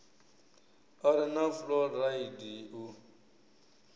a re na fuloraidi u